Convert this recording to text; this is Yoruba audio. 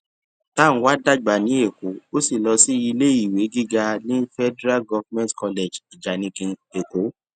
tanwa dàgbà ní èkó ó sì lọ sí iléèwé gíga ní federal government college ijanikin èkó